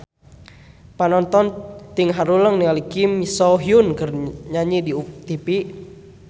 Panonton ting haruleng ningali Kim So Hyun keur nyanyi di tipi